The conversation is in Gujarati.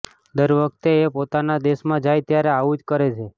દર વખતે એ પોતાના દેશમાં જાય ત્યારે આવું જ કરે છે